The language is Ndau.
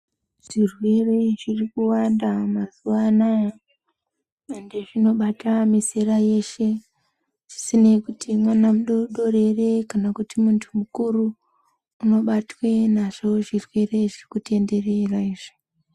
Zvirwere zviri kuwanda mazuwa anaya, ende zvinobata mizera yeshe. Zvisinei kuti mwana mudoodori eree kana kuti muntu mukuru, unobatwa nazvo zvirwere zvirikutenderera izvi.